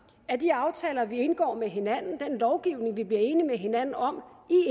at de aftaler vi indgår med hinanden den lovgivning vi bliver enige med hinanden om